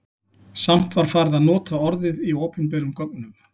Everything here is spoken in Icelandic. Samt var farið að nota orðið í opinberum gögnum.